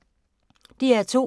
DR2